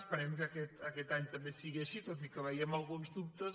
es·perem que aquest any també sigui així tot i que veiem alguns dubtes